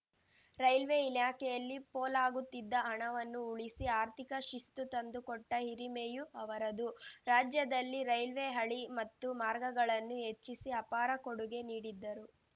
railway ಇಲಾಖೆಯಲ್ಲಿ ಪೋಲಾಗುತ್ತಿದ್ದ ಹಣವನ್ನು ಉಳಿಸಿ ಆರ್ಥಿಕ ಶಿಸ್ತು ತಂದುಕೊಟ್ಟಹಿರಿಮೆಯೂ ಅವರದು ರಾಜ್ಯದಲ್ಲಿ ರೈಲ್ವೆ ಹಳಿ ಮತ್ತು ಮಾರ್ಗಗಳನ್ನು ಹೆಚ್ಚಿಸಿ ಅಪಾರ ಕೊಡುಗೆ ನೀಡಿದ್ದರು